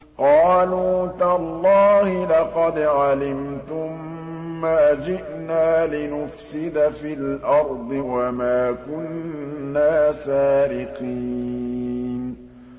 قَالُوا تَاللَّهِ لَقَدْ عَلِمْتُم مَّا جِئْنَا لِنُفْسِدَ فِي الْأَرْضِ وَمَا كُنَّا سَارِقِينَ